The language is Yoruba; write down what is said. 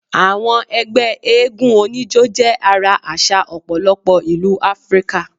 Àwọn egbé eégún onijo jé ara àsà òpòlopo ìlú áfríkà